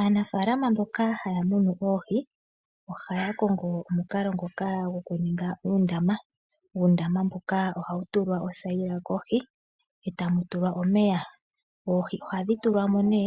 Aanafalama mboka hayamunu oohii ohayakongo omukalo ngoka ngokuninga uundama, uundama mboka ohawutulwa othayila kohi etamutulwa omeya, oohii ohadhitulwamo ne